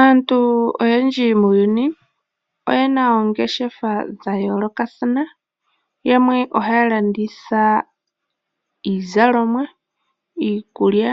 Aantu oyendji muuyuni oyena oongeshefa dha yoolokathana. Yamwe ohaya landitha iizalomwa, iikulya